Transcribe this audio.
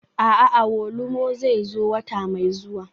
A'a, awolumo zai zo wata mai zuwa.